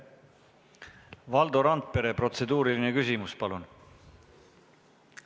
Valdo Randpere protseduuriline küsimus, palun!